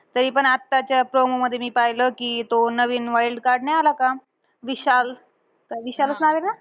तरीपण आत्ताच्या promo मध्ये मी पाहिलं. कि तो नवीन wild card नाही आला का? विशाल. अं विशालचं नाव आहे ना?